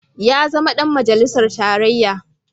Ya zama ɗan majalisar tarayya.